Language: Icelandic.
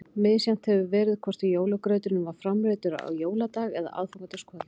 Misjafnt hefur verið hvort jólagrauturinn var framreiddur á jóladag eða aðfangadagskvöld.